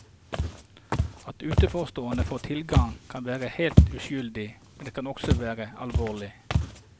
At utenforstående får tilgang, kan være helt uskyldig, men det kan også være alvorlig.